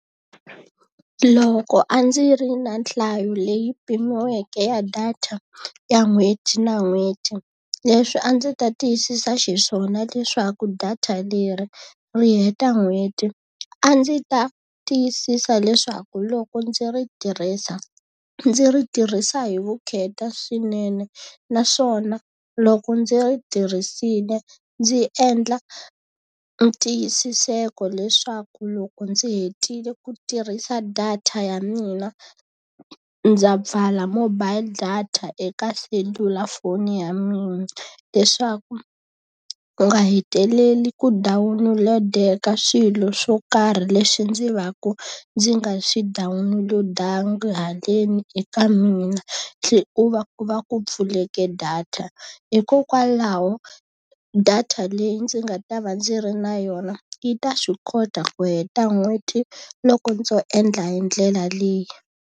Loko a ndzi ri na nhlayo leyi pimiweke ya data ya n'hweti na n'hweti, leswi a ndzi ta tiyisisa xiswona leswaku data leri ri heta n'hweti, a ndzi ta tiyisisa leswaku loko ndzi ri tirhisa ndzi ri tirhisa hi vukheta swinene. Naswona loko ndzi ri tirhisile ndzi endla ni ntiyisiseko leswaku loko ndzi hetile ku tirhisa data ya mina ndza pfala mobile data eka selulafoni ya mina. Leswaku ku nga heteleli ku dawunulodeka swilo swo karhi leswi ndzi va ku ndzi nga swi download-angi haleni eka mina hi ku va ku va ku pfulekeke data. Hikokwalaho data leyi ndzi nga ta va ndzi ri na yona, yi ta swi kota ku heta n'hweti loko ndzo endla hi ndlela leyi.